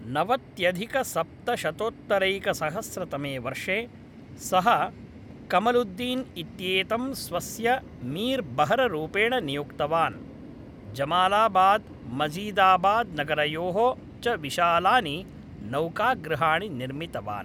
नवत्यधिकसप्तशतोत्तरैकसहस्रतमे वर्षे, सः कमलुद्दीन् इत्येतं स्वस्य मीर् बहररूपेण नियुक्तवान्, जमालाबाद् मजीदाबाद्नगरयोः च विशालानि नौकागृहाणि निर्मितवान्।